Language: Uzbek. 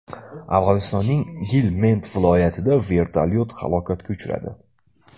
Afg‘onistonning Gilmend viloyatida vertolyot halokatga uchradi.